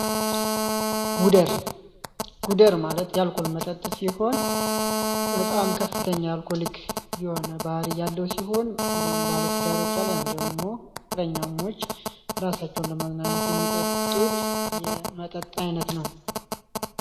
ጉደር ጉደር ማለት የአልኮል መጠጥ ሲሆን በጣም ከፍተኛ የሆነ አልኮሊክ ባህሪይ ያለው ሲሆን እንዲሁም ባለትዳር ወይም ፍቅረኛሞች ራሳቸውን የሚጠጡት የመጠጥ አይነት ነው።